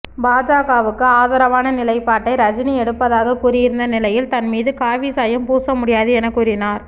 பாஜகவுக்கு ஆதரவான நிலைப்பாட்டையே ரஜினி எடுப்பதாக கூறியிருந்த நிலையில் தன் மீது காவி சாயம் பூச முடியாது என கூறினார்